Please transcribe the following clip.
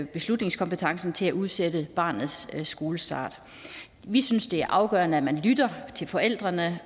beslutningskompetencen til at udsætte barnets skolestart vi synes det er afgørende at man lytter til forældrene